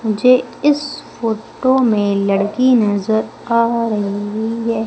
मुझे इस फोटो में लड़की नजर आ रही है।